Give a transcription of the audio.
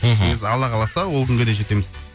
мхм негізі алла қаласа ол күнге де жетеміз